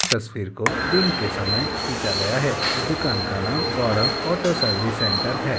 तस्वीर को दिन के समय खींचा गया है। इस दुकान का नाम गौरव ऑटो सर्विस सेंटर है।